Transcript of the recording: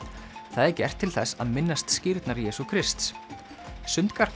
það er gert til þess að minnast skírnar Jesú Krists